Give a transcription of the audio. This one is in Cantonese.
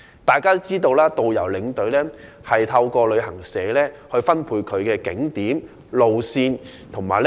大家也知道，導遊和領隊透過旅行社獲分配行程景點、路線和旅客。